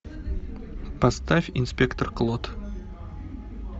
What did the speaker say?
поставь инспектор клот